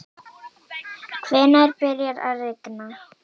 hvenær byrjar að rigna